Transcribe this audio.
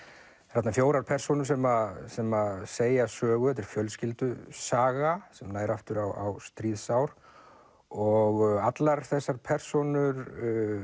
þarna fjórar persónur sem sem segja sögu þetta er fjölskyldusaga sem nær aftur á stríðsár og allar þessar persónur